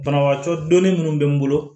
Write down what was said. Banabagatɔ donni minnu bɛ n bolo